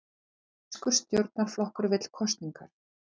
Írskur stjórnarflokkur vill kosningar